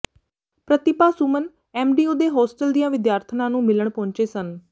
ਪ੍ਰਤਿਭਾ Suman MDU ਦੇ hostel ਦੀਆਂ ਵਿਦਿਆਰਥਣਾਂ ਨੂੰ ਮਿਲਣ ਪਹੁੰਚੇ ਸਨ